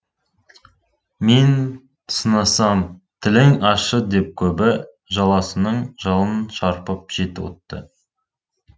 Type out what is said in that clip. мен сынасам тілің ащы деп көбі жаласының жалын шарпып жетті оты